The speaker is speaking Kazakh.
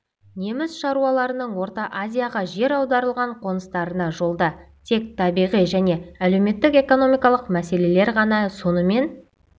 неміс шаруаларының орта азияға жер аударылған қоныстарына жолда тек табиғи және әлеуметтік-экономикалық мәселелер ғана емес сонымен